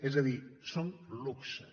és a dir són luxes